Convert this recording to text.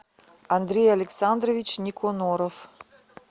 андрей александрович никоноров